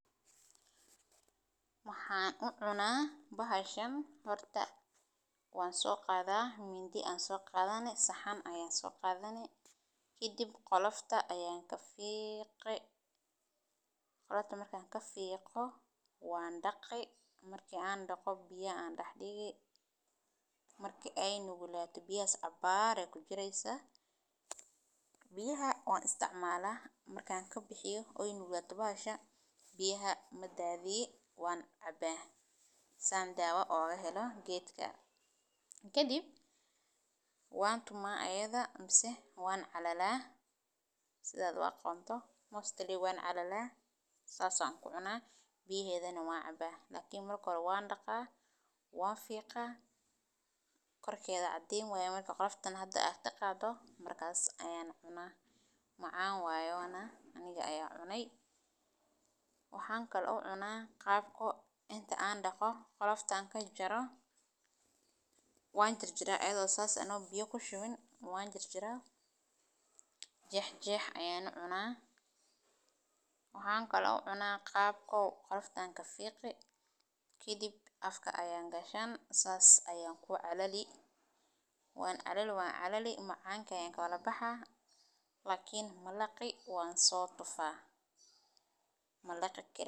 Maxan u cuna bahashan horta wan soqadha midi ayan soqadhani saxan ayan soqadhani kadiib qolofta ayan kafiqi qolofta markan kafiqo wan daqi marki aan daqo biya an dax digi marki ee nuglato biyahas cabar ayey kujiri wan isticmala marka kadiib wan tuma ayada mase wan calala si an oga mostly wan calala sas biyahedana wan caba, lakin wan daqa wan fiqa marka kadiib ayan cuna macan waye aniga aya cunay, aniga oo biyo kushuwin wan jar jara aniga oo jex jex ayan u cuna qolofta ayan kafiqi kadib afka ayan gashani sas ayan ku calali wan calali wan calali macanka ayan kawadha baxaya lakin malaqi wan so tufa malaqi kari.